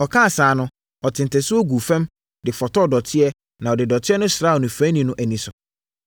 Ɔkaa saa no, ɔtee ntasuo guu fam de fotɔɔ dɔteɛ na ɔde dɔteɛ no sraa onifirani no ani so.